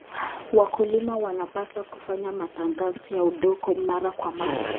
Wakulima wanapaswa kufanya matengenezo ya udongo mara kwa mara.